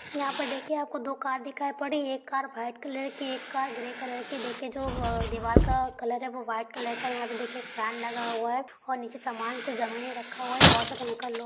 यहाँ पर देखिए आपको दो कार दिखाई पड़ी है एक कार व्हाइट कलर की एक कार ग्रे कलर की देखिये जो दीवाल का कलर है वो व्हॉइट कलर का देखिए यहाँ पे एक फैन लगा हुआ है और नीचे कुछ सामान ज़मीने रखा हुआ है और बहुत सारे अंकल लोग--